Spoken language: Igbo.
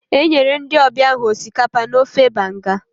E nyere ndị ọbịa ahụ osikapa na ofe banga